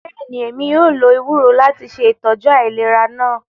Bẹẹni, Emi yóò lo ewuro lati ṣe itọju ailera naa.